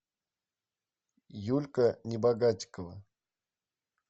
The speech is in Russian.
юлька небогатикова